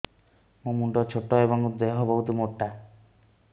ମୋ ମୁଣ୍ଡ ଛୋଟ ଏଵଂ ଦେହ ବହୁତ ମୋଟା